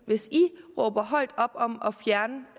hvis i råber højt op om at fjerne